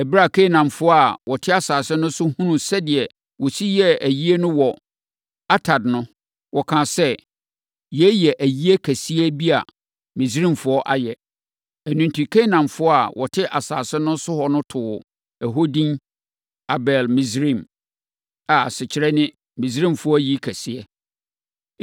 Ɛberɛ a Kanaanfoɔ a na wɔte asase no so hunuu sɛdeɛ wɔsi yɛɛ ayie no wɔ Atad no, wɔkaa sɛ, “Yei yɛ ayi kɛseɛ bi a Misraimfoɔ ayɛ.” Ɛno enti, Kanaanfoɔ a wɔte asase no so no too hɔ edin Abel-Misraim, a asekyerɛ ne Misraimfoɔ ayi kɛseɛ yɛ.